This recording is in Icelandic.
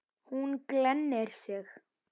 Hún glennir sig.